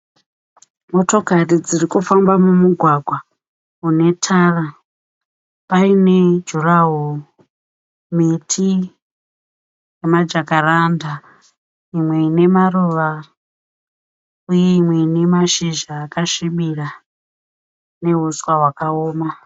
Motokari dzirikufamba mumugwagwa unetara . Paine jurahoro, miti nemajakaranda. Imwe inemaruva uye mimwe inemashizha akasvibira nehuswa hwakaoma.